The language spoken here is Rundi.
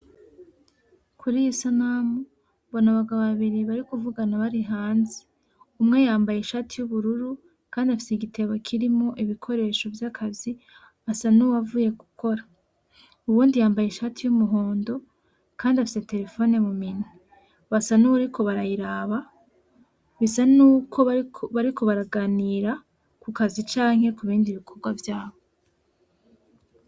Kuriy'Isanamu mbona Abagabo babiri barikuvugana bari hanze. Umwe yambaye Ishati y'Ubururu Kandi afise Igitebo kirimwo Ibikoresho vyakazi. Asa nuwuvuye gukora, Uwundi yambaye Ishati y'Umuhondo Kandi afise terefoni muminwe basa nuwuriko barayiraba bisa nuko bariko baraganira kukazi canke kubindi bikorwa vyabo.